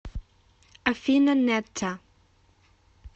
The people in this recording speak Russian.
афина нетта